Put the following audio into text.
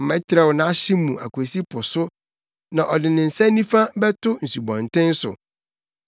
Mɛtrɛw nʼahye mu akosi po so, na ɔde ne nsa nifa bɛto nsubɔnten so.